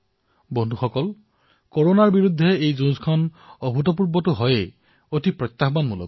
বন্ধুসকল কৰনাৰ বিৰুদ্ধে এই যুদ্ধ অভুতপূৰ্বও তথা প্ৰত্যাহ্বানমূলকো